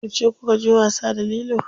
Yauce kukaje wasa da lilo?